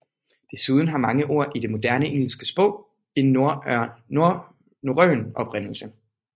Desuden har mange ord i det moderne engelske sprog en norrøn oprindelse